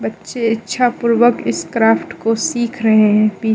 छे इच्छा पूर्वक इस क्राफ्ट को सीख रहे हैं।